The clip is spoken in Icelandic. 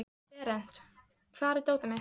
Berent, hvar er dótið mitt?